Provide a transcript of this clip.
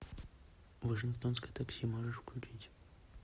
вашингтонское такси можешь включить